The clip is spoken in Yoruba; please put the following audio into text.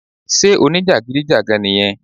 sé o ní jàgídíjàgan nì yẹn?